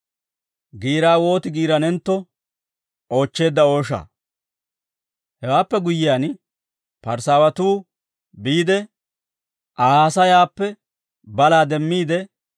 Hewaappe guyyiyaan, Parisaawatuu biide, Aa haasayaappe balaa demmiide, Aa oyk'k'ana mala mak'k'eteeddino.